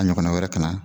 A ɲɔgɔnna wɛrɛ ka na